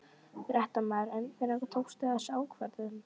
Fréttamaður: En hvenær tókstu þessa ákvörðun?